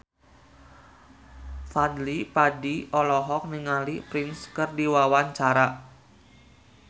Fadly Padi olohok ningali Prince keur diwawancara